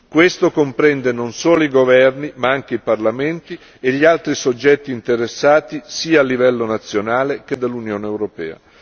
Questo comprende non solo i governi, ma anche i parlamenti e gli altri soggetti interessati, sia a livello nazionale che dell'Unione europea.